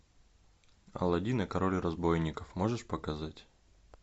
аладдин и король разбойников можешь показать